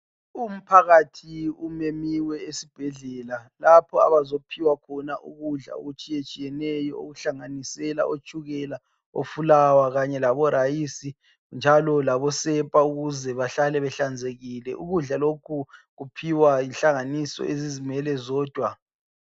Umphakathi umenyiwe esibhedlela lapho abazophiwa khona ukudla okutshiyetshiyeneyo okugoqela itshukela, ifulawa., irayisi lesepa ukuze bahlale behlanzekile. Ukudla lokhu kuphiwa zinhlanganiso ezizimele zodwa.